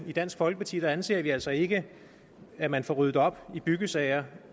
i dansk folkeparti anser vi altså ikke det at man får ryddet op i byggesager